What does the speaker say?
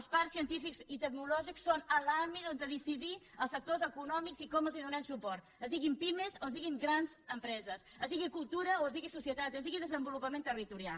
els parcs científics i tecnològics són l’àmbit on decidir els sectors econòmics i com els donem suport es diguin pimes o es diguin grans empreses es digui cultura o es digui societat es digui desenvolupament territorial